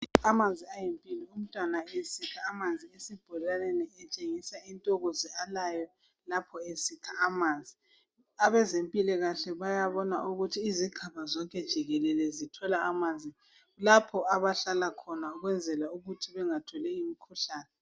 Amanzi ayimpilo. Umntwana esikha amanzi esibhoraneni, etshengisa intokoza anayo lapho esikha amanzi. Abezempilekahle bayabona ukuthi izigaba zonke jikelele zithola amanzi, lapho abahlala khona ukwenzela ukuthi bengatholi imkhuhlane.